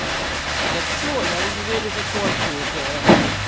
да всё я в универе закончил уже